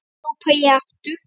hrópaði ég aftur.